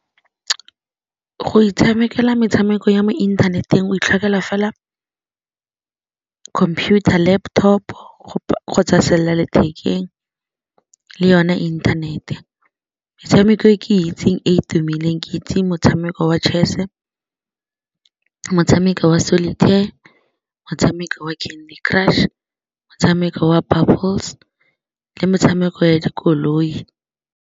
Go itshamekela metshameko ya mo inthaneteng o itlhokela fela computer laptop kgotsa sellalethekeng le yone inthanete metshameko e ke itseng e tumileng ke itse motshameko wa Chess-e, motshameko wa Solitaire, motshameko wa Candy Crush, motshameko wa Bubbles le motshameko ya dikoloi.